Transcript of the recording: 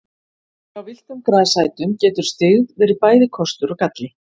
Hjá villtum grasætum getur styggð verið bæði kostur og galli.